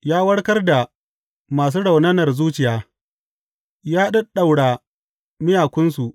Ya warkar da masu raunanar zuciya ya ɗaɗɗaura miyakunsu.